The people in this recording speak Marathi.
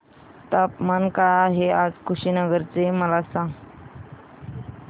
तापमान काय आहे आज कुशीनगर चे मला सांगा